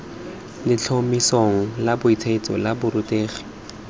letlhomesong la bosetšhaba la borutegi